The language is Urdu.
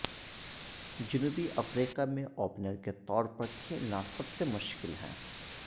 جنوبی افریقہ میں اوپنر کے طور پرکھلینا سب سے مشکل ہے